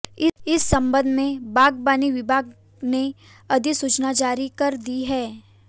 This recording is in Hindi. इस संबंध में बागबानी विभाग ने अधिसूचना जारी कर दी है